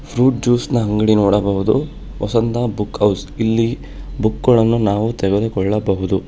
Fruit juice ನ ಅಂಗಡಿ ನೋಡಬಹುದು ವಸಂತ ಬುಕ್ ಹೌಸ್ ಇಲ್ಲಿ ಬುಕ್ ಗಳನ್ನು ನಾವು ತೆಗೆದುಕೊಳ್ಳಬಹುದು.